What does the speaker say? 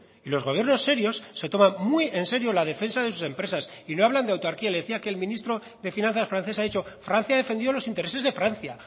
y los gobiernos serios se toman muy enserio la defensa de sus empresas y no hablan de autarquía le decía que el ministro de finanzas francés ha dicho francia ha defendido los intereses de francia